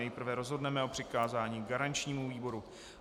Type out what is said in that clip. Nejprve rozhodneme o přikázání garančnímu výboru.